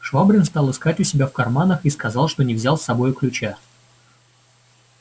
швабрин стал искать у себя в карманах и сказал что не взял с собою ключа